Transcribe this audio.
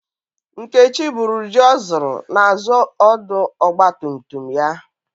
Nkechi buru ji o zụrụ n'azu ọdụ ọgba tum tum ya.